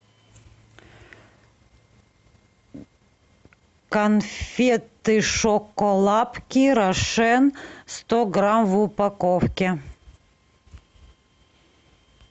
конфеты шоколапки рошен сто грамм в упаковке